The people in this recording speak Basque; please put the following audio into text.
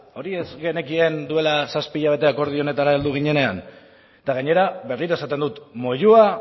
hori ez genekien duela zazpi hilabete akordio honetara heldu ginenean eta gainera berriro esaten dut moyua